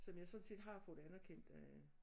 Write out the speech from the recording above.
Som jeg sådan set har fået anerkendt af